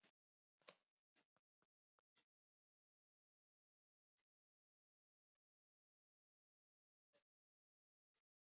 Í því samhengi var líka mikilvægt að þær væru sætar frekar en beinlínis fagrar.